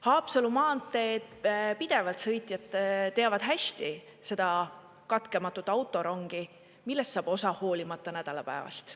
Haapsalu maanteed pidevalt sõitjad teavad hästi seda katkematut autorongi, millest saab osa hoolimata nädalapäevast.